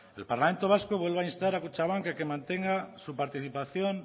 el parlamento vasco vuelve a instar a kutxabank a que mantenga su participación